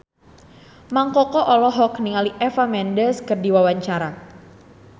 Mang Koko olohok ningali Eva Mendes keur diwawancara